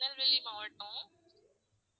திருநெல்வேலி மாவட்டம்